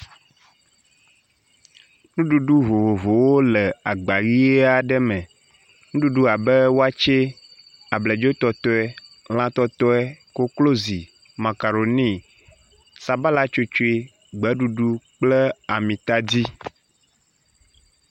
Nuɖuɖu vovovowo le agba ʋi aɖe me. Nuɖuɖu abe wakye, abladzotɔtɔe, lãtɔtɔe, koklozi, makaroni, sabalatsotsoe, gbeɖuɖu kple amitadi.